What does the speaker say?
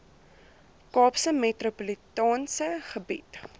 kaapse metropolitaanse gebied